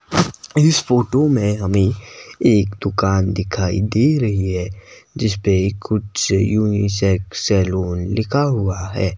इस फोटो में हमें एक दुकान दिखाई दे रही है जिसमें कुछ यूनिक सा सैलून लिखा हुआ है।